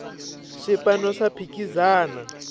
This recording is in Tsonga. swipano swa phikizana